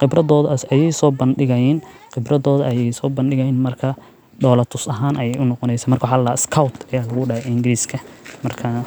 qibradooda ayeey soo bandigaayaan markaa dola tus ahaan ayeey unoqoneysaa markaa waxaa ladahaa scout ayaa lagudahaa englishka markaa